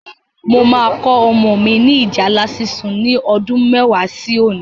Mo máa kọ́ ọmọ ni ìjálá sísun ni ọdún mẹ́wàá sí òní